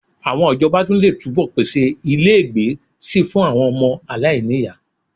Àwọn ìjọba tún lè túbọ̀ pèsè ilégbèé síi fún àwọn ọmọ aláìní ìyá